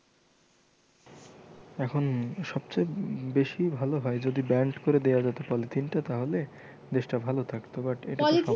এখন সবচেয়ে বেশি ভালো হয় যদি banned করে দেওয়া যেতো পলিথিনটা তাহলে দেশটা ভালো থাকতো but